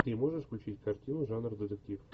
ты можешь включить картину жанр детектив